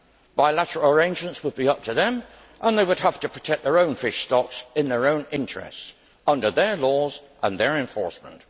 Bilateral arrangements would be up to them and they would have to protect their own fish stocks in their own interests, under their laws and their enforcement.